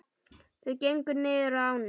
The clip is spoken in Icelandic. Þau gengu niður að ánni.